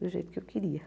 Do jeito que eu queria.